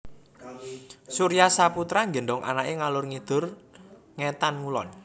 Surya Saputra nggendhong anak e ngalor ngidul ngetan ngulon